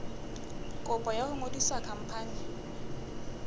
kopo ya ho ngodisa khampani